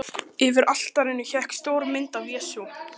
Yfir altarinu hékk stór mynd af Jesú.